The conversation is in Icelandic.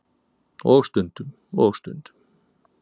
Og stundum. og stundum.